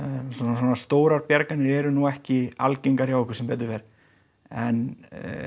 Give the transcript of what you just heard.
svona stórar bjarganir eru nú ekki algengar hjá okkur sem betur fer en